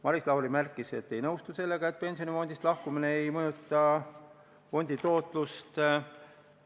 Maris Lauri märkis, et ei nõustu sellega, et pensionifondist lahkumine ei mõjuta fondi tootlust.